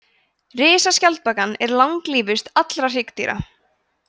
risaskjaldbakan er langlífust allra hryggdýra